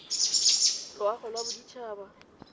loago tsa bodit habat haba